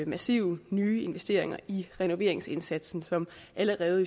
massive nye investeringer i renoveringsindsatsen som allerede